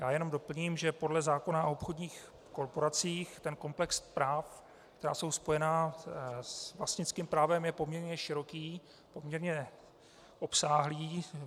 Já jenom doplním, že podle zákona o obchodních korporacích ten komplex práv, která jsou spojena s vlastnickým právem, je poměrně široký, poměrně obsáhlý.